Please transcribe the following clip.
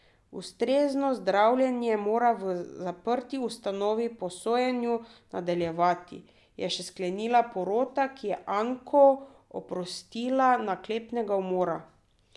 Ustrezno zdravljenje mora v zaprti ustanovi po sojenju nadaljevati, je še sklenila porota, ki je Anko oprostila naklepnega umora.